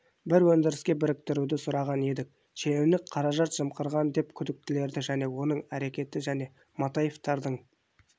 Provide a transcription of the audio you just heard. бір өндіріске біріктіруді сұраған еді шенеунік қаражат жымқырған деп күдіктеледі және оның әрекеті және матаевтардың